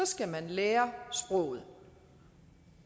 skal man lære sproget